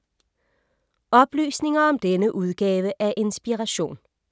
Oplysninger om denne udgave af Inspiration